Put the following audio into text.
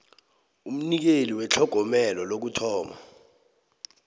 umnikeli wetlhogomelo lokuthoma